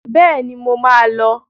Bẹ́ẹ̀ni, mo máa lọ.